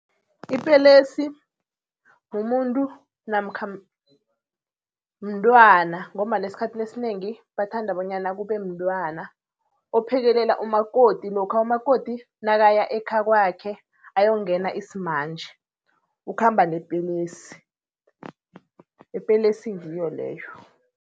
Ipelesi mumuntu namkha mntwana ngombana eskhathini esinengi bathanda bonyana kube mntwana, ophekelela umakoti lokha umakoti nakaya ekhakwakhe ayongena isimanje. Ukhamba nepelesi, ipelesi ngiyo leyo.